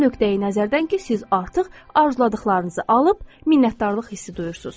O nöqteyi-nəzərdən ki, siz artıq arzuladıqlarınızı alıb minnətdarlıq hissi duyursunuz.